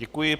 Děkuji.